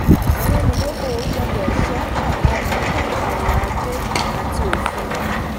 àwọn olùdókòwò gbọ́dọ̀ ṣọ àwọn atọ́ka ọrọ̀ ajé àti òfin.